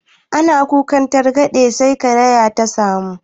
Ana kukan targaɗe sai ka kariya ta samu